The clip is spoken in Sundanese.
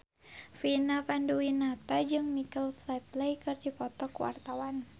Vina Panduwinata jeung Michael Flatley keur dipoto ku wartawan